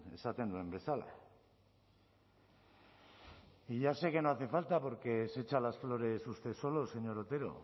esaten duen bezala y ya sé que no hace falta porque se echa las flores usted solo señor otero